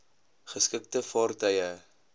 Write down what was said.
geskikte vaartuig e